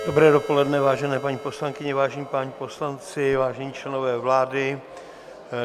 Dobré dopoledne, vážené paní poslankyně, vážení páni poslanci, vážení členové vlády.